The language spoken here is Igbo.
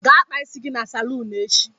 Gaa kpaa isi gị na saloon echi.